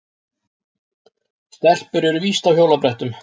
Stelpur eru víst á hjólabrettum.